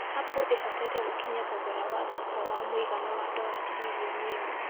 Apple ĩhotete gũkinyia thogora wa thoko wa mũigana wa dola tililioni imwe